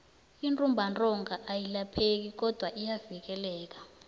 intumbantonga ayilapheki kodwana iyavikeleka